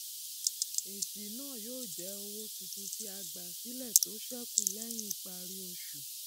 èsì náà jẹ owó tuntun tí a gbà sílẹ tó sẹkù lẹyìn ìparí oṣù